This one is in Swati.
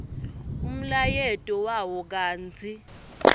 umlayeto wawo kantsi